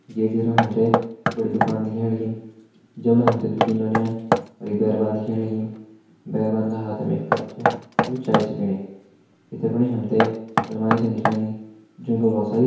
जै जरा हमते बड़ी दुकान दिखेण लगीं जमणा हमथे द्वि तीन नौन्याल अर एक बैरवान दिखेण लगीं बैरवान का हाथम एक कप चै वू चाय छै पीणी भितर फणि हमते अलमारी छन दिखेण लगीं जू फर भौत सारी --